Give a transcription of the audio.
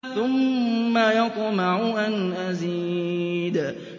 ثُمَّ يَطْمَعُ أَنْ أَزِيدَ